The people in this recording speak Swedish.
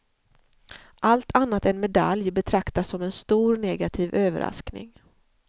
Allt annat än medalj betraktas som en stor negativ överaskning.